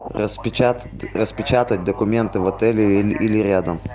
распечатать документы в отеле или рядом